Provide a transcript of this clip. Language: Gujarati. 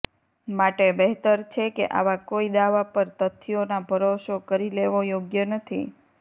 માટે બહેતર છે કે આવા કોઈ દાવા પર તથ્યોના ભરોસો કરી લેવો યોગ્ય નથી